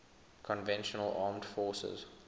conventional armed forces